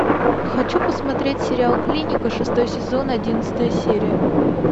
хочу посмотреть сериал клиника шестой сезон одиннадцатая серия